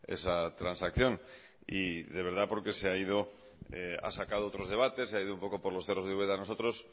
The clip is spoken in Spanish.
esa transacción y de verdad porque se ha ido ha sacado otros debates se ha ido un poco los cerros de úbeda nosotros